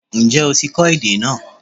Ǹjẹ́ o ti kọ́ èdè náà